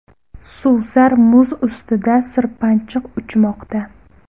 Suvsar muz ustida sirpanchiq uchmoqda.